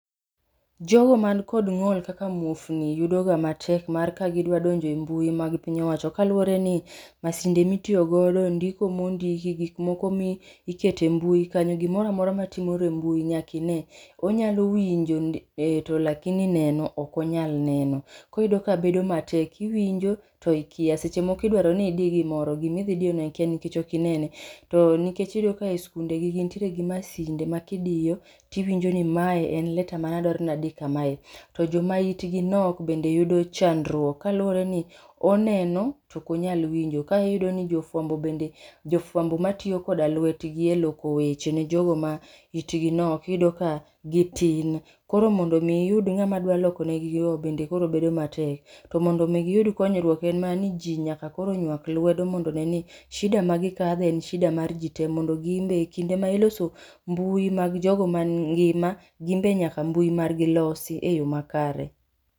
Jogo ma ni kod ng'ol kaka muofni ,yudo ga matek mar ka gi dwa donjo e mbui mag piny owacho kaluore ni msinde ma itiyo godo ndiko ma ondiki, gik moko ma iketo e mbui kanyo gimoro amora matimore e mbui nyaka ine, iyudo ni owinjo ee lakini neno ok onyal neno. Koro iyudo ka bedo matek iwinjo to ikia seche mko idaro ni idi gi moro gi ma idhi diyo no ikia nikech ok inene.to nikech iyudo ka sikunde nitie gi masinde ma ki idiyo ti iwinjo ni ma en lettter ma adwaro ni adi kamae to no ma itgi nok bende yudo chandruok kaluore ni oneno to ok onyal winjo ka iyudo ni fwambo bende jofwamba ma tiyo koda lwet gi e loko weche ne jogo ma it gi nok iyudo ka gi tin koro mondo iyud ng'ama dwa loko ne gi no bende koro bedo matek to mondo mi gi yud konyruok en ma ni ji koro nywak lwedo mondo one ni shida ma gi kadhe en shida mar ji te mondo gin be kinde ma iloso mabui mar jogo ma ngima gin be nyaka mbui mar gi losi e yo makari.